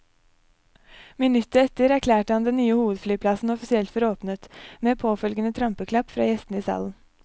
Minuttet etter erklærte han den nye hovedflyplassen offisielt for åpnet, med påfølgende trampeklapp fra gjestene i salen.